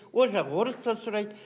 ол жақ орысша сұрайды